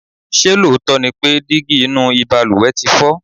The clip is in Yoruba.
ṣé lóòótọ́ ni pé dígí inú ìbalùwẹ̀ ti fọ?